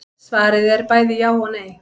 Svarið er bæði já og nei.